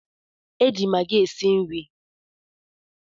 E ji Magi esi nri